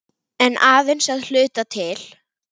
En aðeins að hluta til.